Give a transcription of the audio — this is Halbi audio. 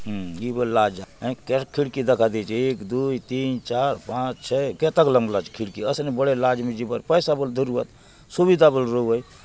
हम इ बले लॉज आय केतक खिड़की दखा देऊचे एक दूय तीन चार पांच छः केतक लंबला चे खिड़की असने बड़े लॉज ने जिबार पैसा बले धरुआत सुविधा बले रहुआय।